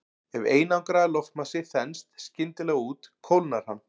Ef einangraður loftmassi þenst skyndilega út kólnar hann.